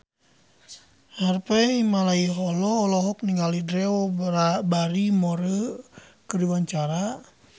Harvey Malaiholo olohok ningali Drew Barrymore keur diwawancara